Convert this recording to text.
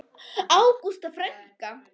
Ágústa frænka.